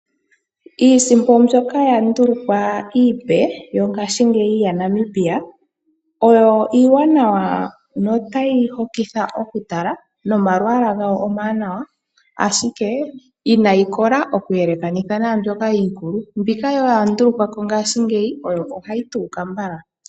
Iisimpo mbyoka ya ndulukwa iipe yo ngaashingeyi yaNamibia oyo iiwanawa no tayi hokitha okutala, no malwala gayo omawanawa, ashike inayi kola oku yele kanitha naa mbyoka iikulu. Mbika ya ndulu kwapo ngaashingeyi oyo hayi tuuka mbala.